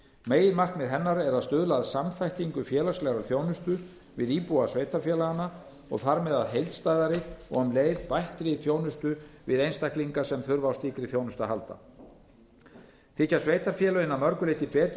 meginmarkmið hennar er að stuðla að samþættingu félagslegrar þjónustu við íbúa sveitarfélaganna og þar með að heildstæðari og um leið bættri þjónustu við einstaklinga sem þurfa á slíkri þjónustu að halda þykja sveitarfélögin að mörgu leyti betur í